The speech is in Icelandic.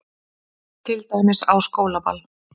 Til dæmis á skólaball.